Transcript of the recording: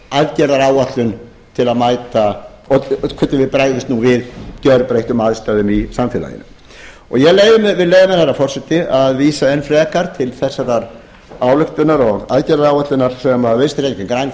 aðgerðaáætlun til að mæta hvernig við bregðumst nú við gjörbreyttum aðstæðum í samfélaginu ég vil leyfa mér herra forseti að vísa enn frekar til þessar ályktunar og aðgerðaáætlunar sem vinstri hreyfingin